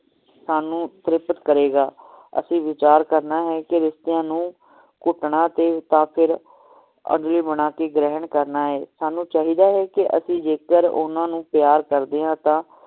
ਸਾਨੂ ਤ੍ਰਿਪਤ ਕਰੇਗਾ ਅਸੀਂ ਵਿਚਾਰ ਕਰਨਾ ਹੈ ਕਿ ਰਿਸ਼ਤਿਆਂ ਨੂੰ ਘੁਟਣਾ ਤੇ ਜਾ ਫੇਰ ਅਗਵਾਈ ਬਣਾ ਕੇ ਗ੍ਰਹਿਣ ਕਰਨਾ ਹੈ ਸਾਨੂ ਚਾਹੀਦਾ ਹੈ ਕਿ ਜੇਕਰ ਅਸੀਂ ਓਹਨਾ ਨੂੰ ਪਿਆਰ ਕਰਦੇ ਹਾਂ